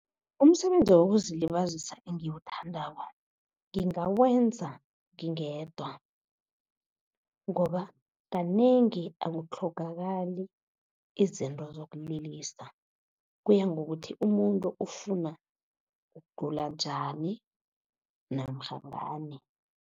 Umsebenzi wokuzilibazisa engiwuthandako ngingawenza ngingedwa, ngoba kanengi akutlhogakali izinto zokulilisa. Kuya ngokuthi umuntu ufuna ukucula njani namkha ngani.